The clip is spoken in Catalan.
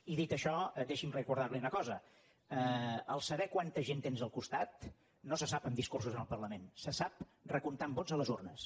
i dit això deixi’m recordar li una cosa saber quanta gent tens al costat no se sap amb discursos al parlament se sap recomptant vots a les urnes